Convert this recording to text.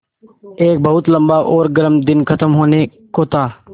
एक बहुत लम्बा और गर्म दिन ख़त्म होने को था